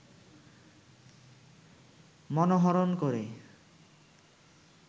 মনোহরণ করে